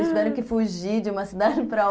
Eles tiveram que fugir de uma cidade para outra.